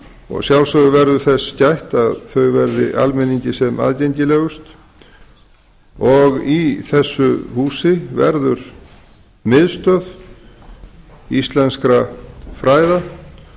og að sjálfsögðu verður þess gætt að þau verði almenningi sem aðgengilegust í þessu húsi verður miðstöð íslenskra fræða